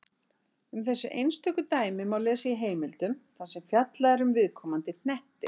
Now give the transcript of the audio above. Um þessi einstöku dæmi má lesa í heimildum þar sem fjallað er um viðkomandi hnetti.